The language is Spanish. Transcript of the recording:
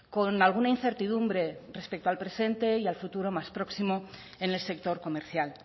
con alguna incertidumbre respecto al presente y al futuro más próximo en el sector comercial